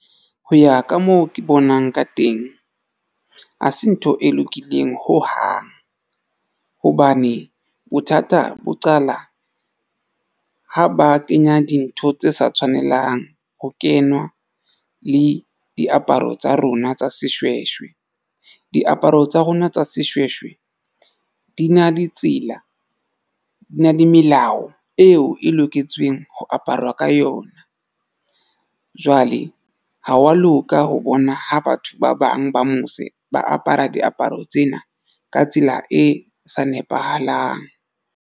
Ho ya ka moo ke bonang ka teng ha se ntho e lokileng ho hang hobane bothata bo qala ha ba kenya dintho tse sa tshwanelang ho kenywa le diaparo tsa rona tsa seshweshwe. Diaparo tsa rona tsa seshweshwe di na le tsela di na le melao eo e loketsweng ho aparwa ka yona. Jwale ha wa loka ho bona ha batho ba bang ba mose ba apara diaparo tsena ka tsela e sa nepahalang.